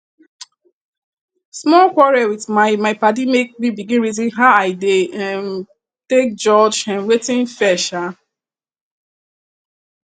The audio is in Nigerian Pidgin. small quarrel with my my padi make me begin reason how i dey um take judge um wetin fair um